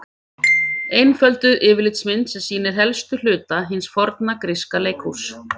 Einfölduð yfirlitsmynd sem sýnir helstu hluta hins forna gríska leikhúss.